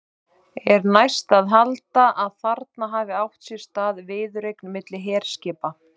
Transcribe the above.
Er næst að halda, að þarna hafi átt sér stað viðureign milli herskipa.